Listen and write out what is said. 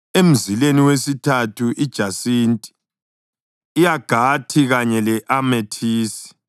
emzileni wesithathu ijasinti, i-agathi kanye le-amethisi,